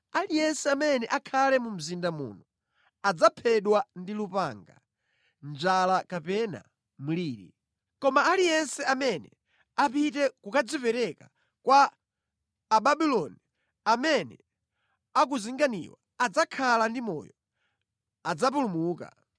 Aliyense amene akhale mu mzinda muno adzaphedwa ndi lupanga, njala kapena mliri. Koma aliyense amene apite kukadzipereka kwa Ababuloni amene akuzinganiwa adzakhala ndi moyo, adzapulumuka.